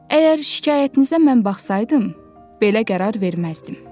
Əgər şikayətinizə mən baxsaydım, belə qərar verməzdim.